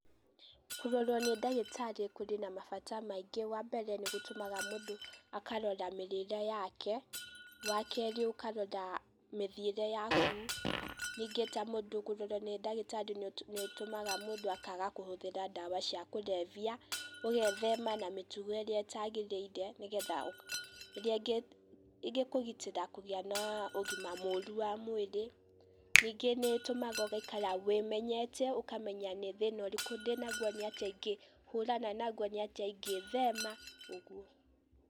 Kũrorwo nĩ dagĩtarĩ kũrĩ na mabata maingĩ, wa mbere, nĩ gũtũmaga mũndũ akarora mĩrĩĩre yake, wa kerĩ ũkarora mĩthĩire yakũ, nĩnge ta mũndu kũrorwo nĩ dagĩtarĩ, nĩ ũtũmaga mũdũ akaaga kũhũthĩra dawa cia kurebya ũgethema na mĩtũgo ĩrĩa ĩtagĩrĩire nĩgetha iria ingĩkũgitĩra kũgia na ũgima mũrũ wa mwĩrĩ, nĩnge nĩ ĩtũmaga ũgaikara wĩ menyete ũkamenya nĩ thĩna ũrĩkũ dĩna gũo, nĩ atĩa igĩhũrana nagũo? nĩ atia ingĩthema? uguo.